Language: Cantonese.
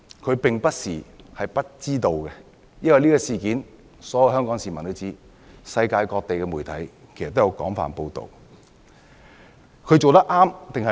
他並不是不知道，因為所有香港市民都知道這事，世界各地的媒體也有廣泛報道。